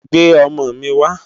Gbé òmò mi wá